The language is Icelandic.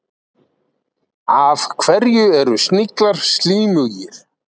Af hverju eru sniglar slímugir?